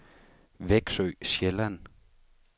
Veksø Sjælland